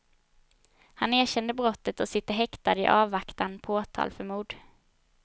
Han erkände brottet och sitter häktad i avvaktan på åtal för mord.